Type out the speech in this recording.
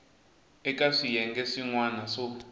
eka swiyenge swin wana swo